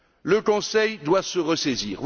Le Conseil doit se ressaisir.